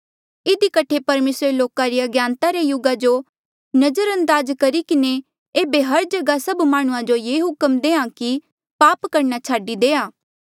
इधी कठे परमेसरे लोका री अज्ञानता रे युगा जो नजरअंदाज करी किन्हें एेबे हर जगहा सभ माह्णुंआं जो ये हुक्म देहां कि पाप करणा छाडी देआ